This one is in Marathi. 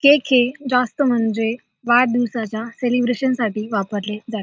केक हे जास्त म्हणजे वाढदिवसाच्या सेलिब्रेशनसाठी वापरले जा --